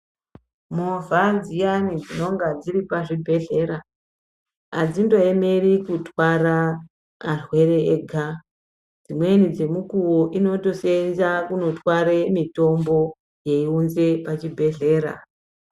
Movha dziyani dzinenge dziri pazvibhedhlera adzindoemeri kutwara arwere ega dzimweni dzemukuwo inotosenza kutwara mitombo yeunza pazvibhedhlera.